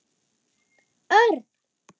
Örn!